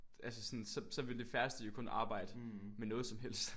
Altså sådan så så ville de færreste jo kun arbejde med noget som helst